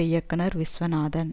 இயக்குனர் விஷ்ணு வர்தன்